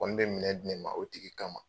Koni bɛ minɛ di ne ma o tigi kama.